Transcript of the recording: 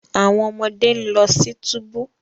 Awọn ọmọde n lọ si tubu